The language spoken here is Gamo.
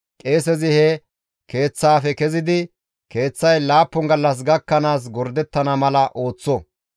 qeesezi he keeththaafe kezidi keeththay laappun gallas gakkanaas gordettana mala ooththo.